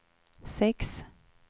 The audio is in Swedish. sex